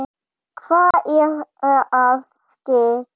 Hvað er að ske?